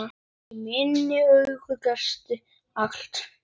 Í mínum augum gastu allt.